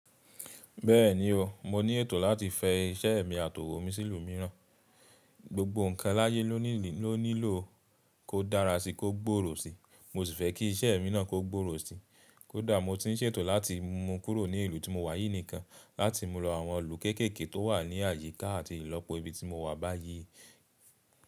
Bẹ́ẹ̀ni o, mo ní ètò láti fẹ iṣẹ́ ẹ̀mi àtọ̀wòmi mi sí ìlú mìíràn. Gbogbo ǹkan láyé ló nílò kó dára sí, kó gbòòrò sí, mo sì fẹ́ kí iṣẹ́ ẹ̀mí náà kó gbòòrò sí. Kódà mo ti ń ṣètò láti mu kúrò ní ìlú tí mo wà yìí nìkan láti mu lọ àwọn ìlú kéékèèké tó wà ní àyíká àti ìlọ́pò ibi tí mo wà báyìí.